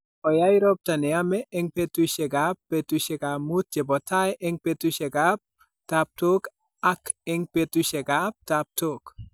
Oyai ropta ne yamei eng' peetuusyegap peetuusyek muut che po tai eng' peetuusyegap taaptook ak eng' peetuusyegap taaptook.